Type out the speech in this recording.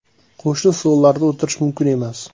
Qo‘shni stollarda o‘tirish mumkin emas.